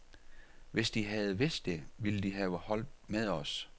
Hvis de havde vidst det, ville de have holdt med os.